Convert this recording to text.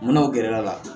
Munna u gɛrɛla